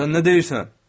Sən nə deyirsən?